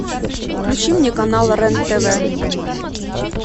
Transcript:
включи мне канал рен тв